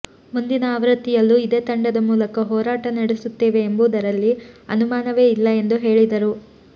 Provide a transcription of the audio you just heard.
ಮುಂದಿನ ಆವೃತ್ತಿಯಲ್ಲೂ ಇದೇ ತಂಡದ ಮೂಲಕ ಹೋರಾಟ ನಡೆಸುತ್ತೇವೆ ಎಂಬುದರಲ್ಲಿ ಅನುಮಾನವೇ ಇಲ್ಲ ಎಂದು ಹೇಳಿದರು